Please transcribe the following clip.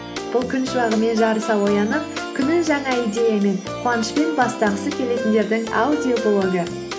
бұл күн шуағымен жарыса оянып күнін жаңа идеямен қуанышпен бастағысы келетіндердің аудиоблогы